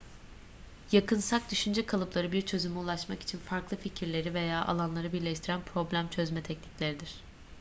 yakınsak düşünce kalıpları bir çözüme ulaşmak için farklı fikirleri veya alanları birleştiren problem çözme teknikleridir